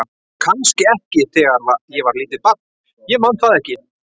Kannski ekki þegar ég var lítið barn, ég man það ekki.